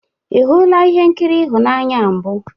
Ị hụla ihe nkiri ịhụnanya a mbụ?